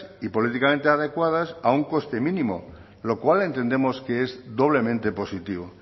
y políticamente adecuadas a un coste mínimo lo cual entendemos que es doblemente positivo